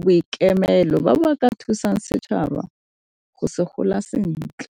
boikemelo ba ba ka thusang setšhaba gore se gola sentle.